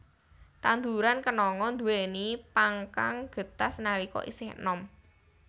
Tanduran kenanga nduwèni pang kang getas nalika isih enom